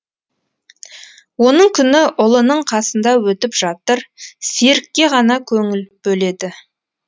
оның күні ұлының қасында өтіп жатыр серікке ғана көңіл бөледі